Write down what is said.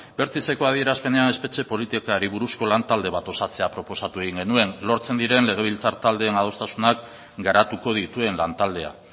bertizeko adierazpenean espetxe politikari buruzko lantalde bat osatzea proposatu egin genuen lortzen diren legebiltzar taldeen adostasunak garatuko dituen lantaldea